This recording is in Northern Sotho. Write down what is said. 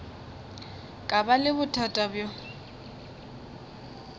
ka ba le bothata bjo